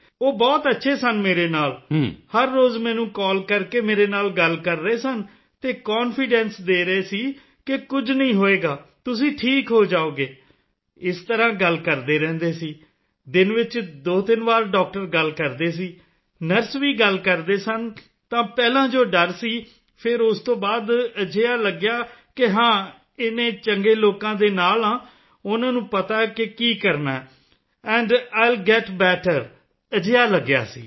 ਉਹ ਬਹੁਤ ਅੱਛੇ ਸਨ ਮੇਰੇ ਨਾਲ ਹਰ ਰੋਜ਼ ਮੈਨੂੰ ਕਾਲ ਕਰਕੇ ਮੇਰੇ ਨਾਲ ਗੱਲ ਕਰ ਰਹੇ ਸਨ ਅਤੇ ਕਾਨਫੀਡੈਂਸ ਦੇ ਰਹੇ ਸਨ ਕਿ ਕੁਝ ਨਹੀਂ ਹੋਵੇਗਾ ਤੁਸੀਂ ਠੀਕ ਹੋ ਜਾਓਗੇ ਇਸ ਤਰ੍ਹਾਂ ਗੱਲ ਕਰਦੇ ਰਹਿੰਦੇ ਸਨ ਦਿਨ ਵਿੱਚ 23 ਵਾਰ ਡਾਕਟਰ ਗੱਲ ਕਰਦੇ ਸਨ ਨਰਸ ਵੀ ਗੱਲ ਕਰਦੇ ਸਨ ਤਾਂ ਪਹਿਲਾਂ ਜੋ ਡਰ ਸੀ ਫਿਰ ਉਸ ਤੋਂ ਬਾਅਦ ਅਜਿਹਾ ਲੱਗਿਆ ਕਿ ਹਾਂ ਇੰਨੇ ਚੰਗੇ ਲੋਕਾਂ ਦੇ ਨਾਲ ਹਾਂ ਉਨ੍ਹਾਂ ਨੂੰ ਪਤਾ ਹੈ ਕਿ ਕੀ ਕਰਨਾ ਹੈ and I will get better ਅਜਿਹਾ ਲੱਗਿਆ ਸੀ